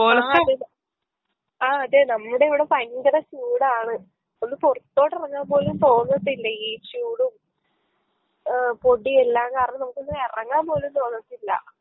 ആ അതെ ആ അതെ നമ്മുടിവിടെ ഫയങ്കര ചൂടാണ് ഒന്ന് പൊറത്തോട്ടെറെങ്ങാൻ പോലും തോന്നത്തില്ല ഈ ചൂടും ഏ പൊടിയെല്ലാം കാരണം നമുക്കൊന്നെറങ്ങാൻ പോലും തോന്നത്തില്ല